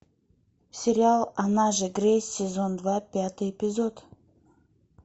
сериал она же грейс сезон два пятый эпизод